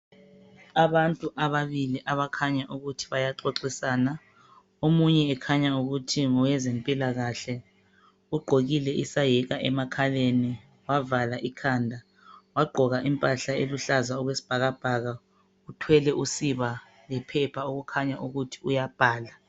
Abantu ababili abakhanya ukuthi bayaxoxisana , omunye ekhanya ukuthi ngowezempilakahle , ugqokile isayeka emakhaleni , wavala ikhanda , wagqoka impahla eluhlaza okwesibhakabhaka , uthwele usiba lephepha okukhanya ukuthi uyabhala